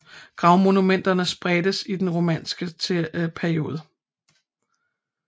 Gravstensmonumenter spredtes i den romanske periode